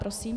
Prosím.